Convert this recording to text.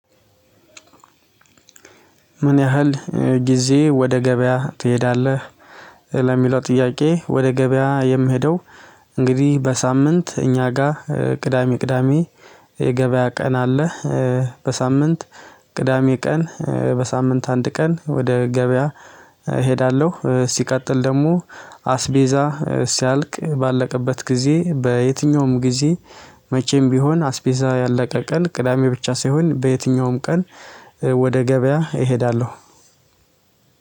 ምን ያህል ጊዜ ወደ ገበያ ትሄዳለህ? ለሚለው ጥያቄ ወደ ገበያ የምሄደው እንግዲህ በሳምንት እኛ ጋር ቅዳሜ ቅዳሜ የገበያ ቀን አለ። በሳምንት ቅዳሜ ቀን በሳምንት አንድ ቀን ወደ ገበያ። እሄዳለሁ ሲቀጥል ደግሞ አስቤዛ ሲያልቅ ባለቀበት ጊዜ በየትኛውም ጊዜ መቼም ቢሆን አስቤዛ ያለቀው ቀን ቅዳሜ ብቻ ሳይሆን በየትኛውም ቀን ወደ ገበያ እሄዳለሁ።